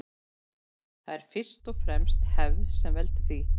Það er fyrst og fremst hefð sem veldur því.